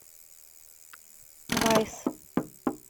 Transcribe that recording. вайс